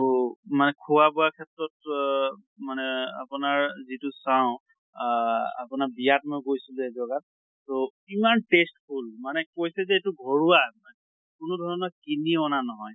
ত মানে খোৱা বোৱা ক্ষেত্ৰত অহ মানে আপোনাৰ যিটো চাওঁ আহ আপোনাৰ বিয়াত মই গৈছিলো এজগাত তʼ ইমান tasteful মানে কৈছে যে এইটো ঘৰুৱা, কোনো ধৰণৰ কিনি অনা ন্হয়